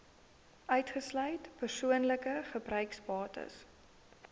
uitgesluit persoonlike gebruiksbates